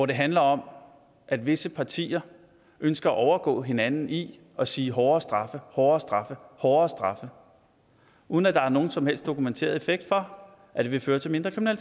det handler om at visse partier ønsker at overgå hinanden i at sige hårdere straffe hårdere straffe hårdere straffe uden at der er nogen som helst dokumenteret effekt for at det vil føre til mindre